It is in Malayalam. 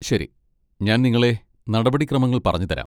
ശരി, ഞാൻ നിങ്ങളെ നടപടിക്രമങ്ങൾ പറഞ്ഞു തരാം.